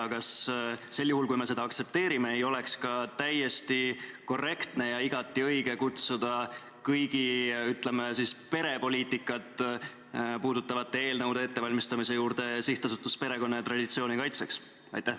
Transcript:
Ja kas sel juhul, kui me seda aktsepteerime, ei oleks ka täiesti korrektne ja igati õige kutsuda kõigi, ütleme siis, perepoliitikat puudutavate eelnõude ettevalmistamise juurde Sihtasutus Perekonna ja Traditsiooni Kaitseks?